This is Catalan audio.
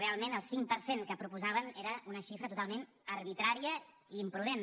realment el cinc per cent que proposaven era una xifra totalment arbitrària i imprudent